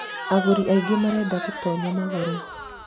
agũri aingĩ mareda gũtonya magũre